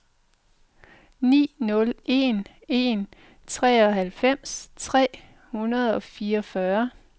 ni nul en en treoghalvfems tre hundrede og fireogfyrre